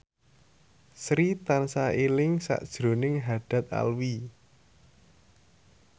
Sri tansah eling sakjroning Haddad Alwi